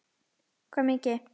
Hvað mikið?